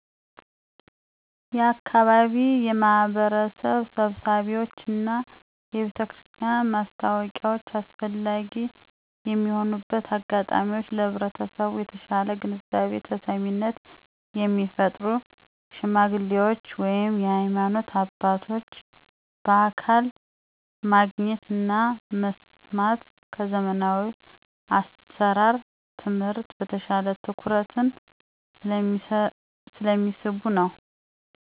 የአካባቢ የማህበረሰብ ስብሰባዎች እና የቤተክርስቲያን ማስታወቂያዎች አስፈላጊ የሚሆንበት አጋጣሚወች ለህብረተሰቡ የተሻለ ግንዛቤ (ተሰሚነት) የሚፈጥሩ ሽማግሌዎች ወይም የሀይማኖት አባቶች በአካል ማግኘት እና መስማት ከዘመናዊ አሰራር (ትምህርት) በተሻለ ትኩረትን ስለሚስቡ ነዉ።